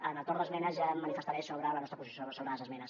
en el torn d’esmenes ja em manifestaré sobre la nostra posició sobre les esmenes